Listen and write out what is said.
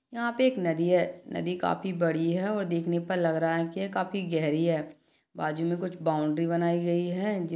यहाँ पर एक नदी है नदी काफी बड़ी है और देखने पर लग रहा है की काफी गहरी है बाजू मे कुछ बौंड़री बनाई गई है जिस--